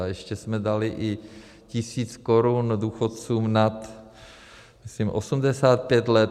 A ještě jsme dali i tisíc korun důchodcům nad, myslím, 85 let.